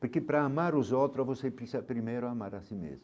Porque para amar os outros, você precisa primeiro amar a si mesmo.